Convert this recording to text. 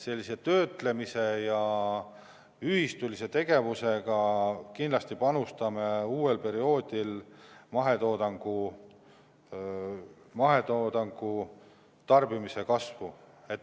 Sellise töötlemise ja ühistulise tegevusega kindlasti panustame uuel perioodil mahetoodangu tarbimise kasvu.